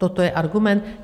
Toto je argument?